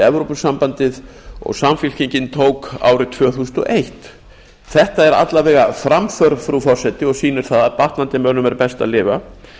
evrópusambandið og samfylkingin tók árið tvö þúsund og eitt þetta er alla vega framför frú forseti og sýnir það að batnandi mönnum er best að lifa